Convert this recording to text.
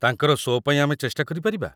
ତାଙ୍କର ସୋ' ପାଇଁ ଆମେ ଚେଷ୍ଟା କରିପାରିବା।